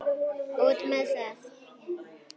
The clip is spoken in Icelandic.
Út með það!